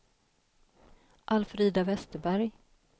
Alfrida Westerberg